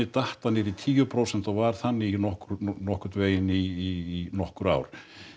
datt það í tíu prósent og var þannig nokkurn nokkurn veginn í nokkur ár